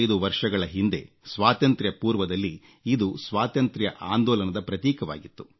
125 ವರ್ಷಗಳ ಹಿಂದೆ ಸ್ವಾತಂತ್ರ್ಯಪೂರ್ವದಲ್ಲಿ ಇದು ಸ್ವಾತಂತ್ರ್ಯ ಆಂದೋಲನದ ಪ್ರತೀಕವಾಗಿತ್ತು